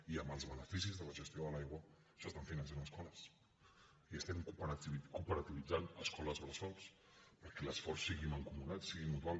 i amb els beneficis de la gestió de l’aigua s’estan finançant escoles i estem cooperativitzant escoles bressol perquè l’esforç sigui mancomunat sigui mutual